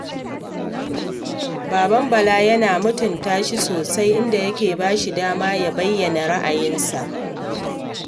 Baban Bala yana mutunta shi sosai, inda yake ba shi dama ya bayyana ra'ayinsa